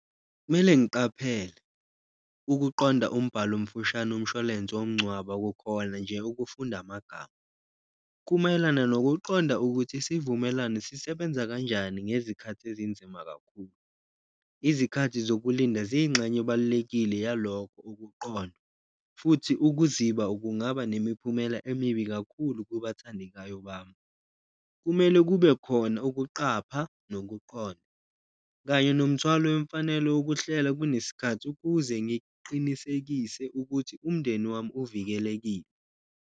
Mele ngiqaphele ukuqonda umbhalo omfushane umshwalense womngcwabo kukhona nje ukufunda amagama, kumayelana nokuqonda ukuthi isivumelane sisebenza kanjani ngezikhathi ezinzima kakhulu. Izikhathi zokulinda ziyingxenye ebalulekile yalokho ukuqonda futhi ukuziba kungaba nemiphumela emibi kakhulu kubathandekayo bami, kumele kube khona ukuqapha nokuqonda. Kanye nomthwalo wemfanelo wokuhlela kunesikhathi ukuze ngiqinisekise ukuthi umndeni wami uvikelekile.